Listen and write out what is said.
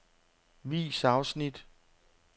Vis afsnit.